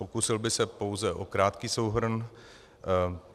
Pokusil bych se pouze o krátký souhrn.